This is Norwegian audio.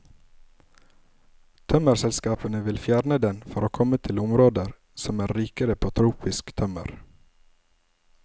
Tømmerselskapene vil fjerne den for å komme til områder som er rikere på tropisk tømmer.